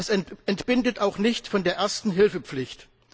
Es entbindet auch nicht von der Erste Hilfe Pflicht.